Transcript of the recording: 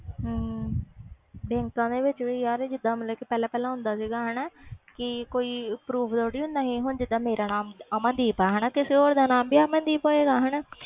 ਬੈਂਕਾਂ ਵਿਚ ਵੀ ਯਾਰ ਹੁੰਦਾ ਸੀ ਕਿ ਕੋਈ proofs ਥੋੜੀ ਦੇਦਾ ਸੀ ਹੁਣ ਜੀਂਦਾ ਮੇਰਾ ਨਾਮ ਅਮਨਦੀਪ ਆ ਤੇ ਕਿਸੇ ਹੋਰ ਦ ਨਾਮ ਵੀ ਅਮਨਦੀਪ ਹੋਵੇ ਗਏ